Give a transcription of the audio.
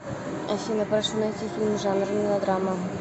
афина прошу найти фильм жанр мелодрама